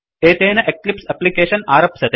एतेन Eclipse application आरप्स्यते